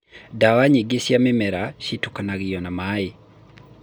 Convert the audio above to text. ndawa nyingĩ cia mĩmera cĩtukanangio na maaĩ